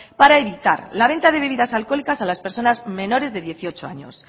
para evitar la venta de bebidas alcohólicas a las personas menores de dieciocho años